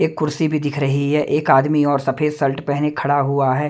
एक कुर्सी भीं दिख रहीं हैं एक आदमी और सफेद सर्ट पहने खड़ा हुवा हैं।